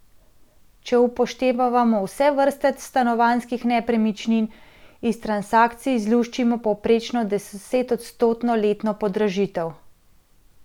Če upoštevamo vse vrste stanovanjskih nepremičnin, iz transakcij izluščimo povprečno desetodstotno letno podražitev.